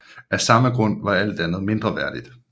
Af samme grund var alt andet mindreværdigt